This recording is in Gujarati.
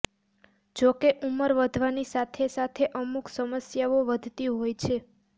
જો કે ઉંમર વધવાની સાથે સાથે અમુક સમસ્યાઓ વધતી હોય છે